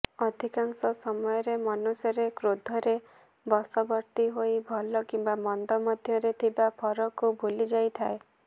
ଅଧିକାଂଶ ସମୟରେ ମନୁଷ୍ୟରେ କ୍ରୋଧରେ ବଶବର୍ତ୍ତୀ ହୋଇ ଭଲ କିମ୍ବା ମନ୍ଦ ମଧ୍ୟରେ ଥିବା ଫରକକୁ ଭୁଲି ଯାଇଥାଏ